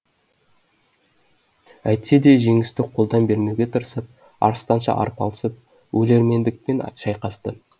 әйтсе де жеңісті қолдан бермеуге тырысып арыстанша арпалысып өлермендікпен шайқасты